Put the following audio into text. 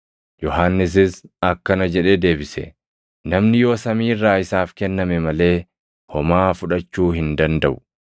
Yohannisis akkana jedhee deebise; “Namni yoo samii irraa isaaf kenname malee homaa fudhachuu hin dandaʼu.